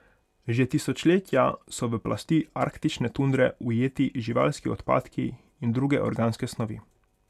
Že tisočletja so v plasti arktične tundre ujeti živalski odpadki in druge organske snovi.